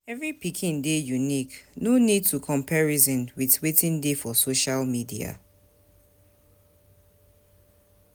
Every pikin dey unique, no need to comparison with wetin dey for social media